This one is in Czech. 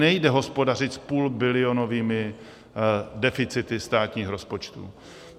Nejde hospodařit s půlbilionovými deficity státních rozpočtů.